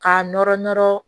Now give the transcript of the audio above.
K'a nɔrɔ nɔrɔ